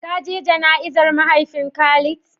Ka je jana'izar mahaifin Khalid?